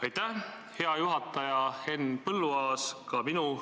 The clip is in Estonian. Aitäh, hea juhataja Henn Põlluaas!